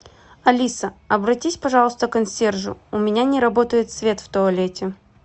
алиса обратись пожалуйста к консьержу у меня не работает свет в туалете